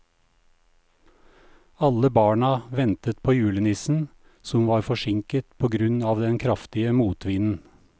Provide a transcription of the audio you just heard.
Alle barna ventet på julenissen, som var forsinket på grunn av den kraftige motvinden.